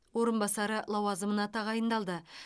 орынбасары лауазымына тағайындалды